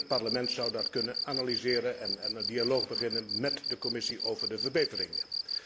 Het Parlement zou dat kunnen analyseren en een dialoog beginnen met de Commissie over de verbeteringen.